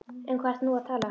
Um hvað ertu nú að tala?